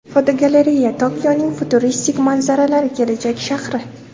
Fotogalereya: Tokioning futuristik manzaralari kelajak shahri.